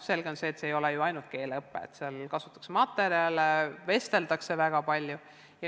Selge on see, et seal ei ole tegemist ainult keeleõppega, sest seal kasutatakse häid materjale ja vesteldakse väga palju.